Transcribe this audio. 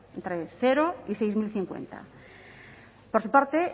entre cero y seis mil cincuenta por su parte